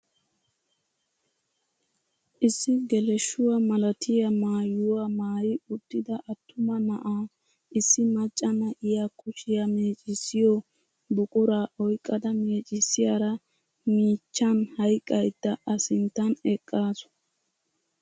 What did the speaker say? Issi geleshshuwaa malatiyaa maayuwaa maayi uttida attuma na'aa issi macca na'iyaa kushiyaa mecissiyoo buquraa oyqqada meccisiyaara miichchan hayqqada a sinttan eqqasu.